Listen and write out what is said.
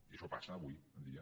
i això passa avui en dia